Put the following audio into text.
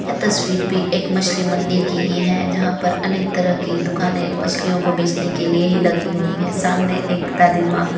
यह तस्वीर भी एक मछली मंडी की ही हैं जहाँ पर अनेक तरह की दुकाने मछलियों को बेचने के लिए ही लगी हुई हैं सामने एक दादी माँ --